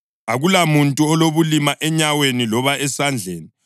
akulamuntu olobulima enyaweni loba esandleni,